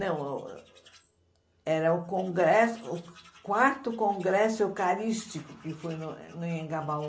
Não, era o congresso o quarto congresso eucarístico que foi no no Anhangabaú.